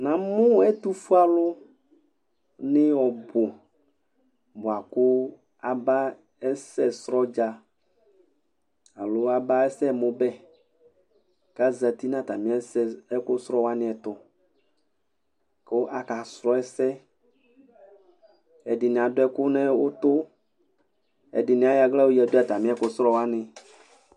ɲɑmũ ɛtụfụɛɑlu ɲi ọbụ buɑkụ ɑbɑ ɛsɛcrọdzɑ ɑló ɑba ɛsɛmbé ɑzɑti ɲɑtɑmiɛsɛ ɛkụcrọwɑ'ɲiɛtụku ɑkɑcrọ ɛsɛ ɛɗiɲiɑ ɗụɛkụ ɲụtũ ɛɗiɲi ɑyọ ɑhlɑ ƴọyɛɗụ ɑtɑmiɛkụcrọwɑɲi